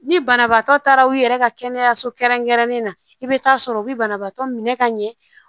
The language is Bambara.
Ni banabaatɔ taara u yɛrɛ ka kɛnɛyaso kɛrɛnkɛrɛnnen na i bɛ taa sɔrɔ u bɛ banabaatɔ minɛ ka ɲɛ